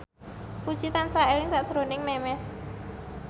Puji tansah eling sakjroning Memes